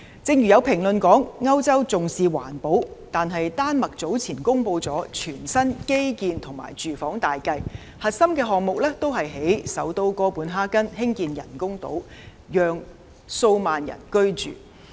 正如有評論說歐洲重視環保，但丹麥早前公布的全新基建及住房大計，核心項目也是在首都哥本哈根興建人工島，讓數萬人居住。